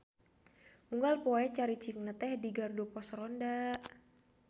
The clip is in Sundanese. Unggal poe caricingna teh di gardu pos ronda.